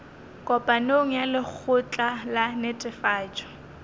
kopanong ya lekgotla la netefatšo